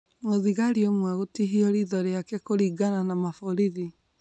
Mũthigari ũmwe gutihio ritho rĩake kũringana na maborithi